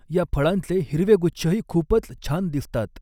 या फळांचे हिरवे गूच्छही खूपच छान दिसतात.